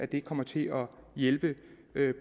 der kommer til at hjælpe